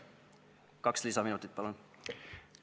Kaks lisaminutit, palun!